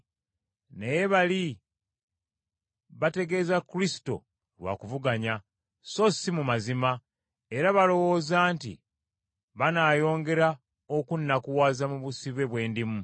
Naye bali bategeeza Kristo lwa kuvuganya, so si mu mazima, nga balowooza nti banaayongera okunnakuwaza mu busibe bwe ndimu.